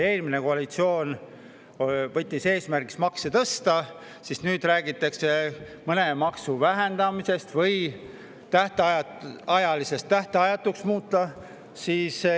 Eelmine koalitsioon võttis eesmärgiks makse tõsta ja nüüd räägitakse mõne maksu vähendamisest või tähtajalisest tähtajatuks muutmisest.